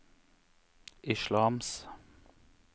islams